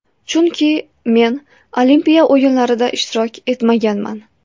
Chunki men Olimpiya o‘yinlarida ishtirok etmaganman.